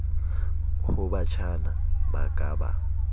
ho batjhana ba ka ba